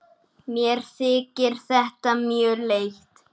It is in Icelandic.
Mér þykir þetta mjög leitt.